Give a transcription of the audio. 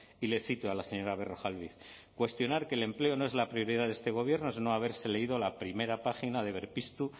y le cito a la señora berrojalbiz cuestionar que el empleo no es la prioridad de este gobierno es no haberse leído la primera página de berpiztu